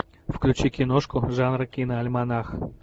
включи киношку жанра киноальманах